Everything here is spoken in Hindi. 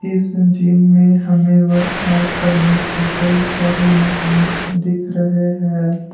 इस जिम में हमें वर्क आउट करने के कई सारे मासिंस दिख रहे हैं।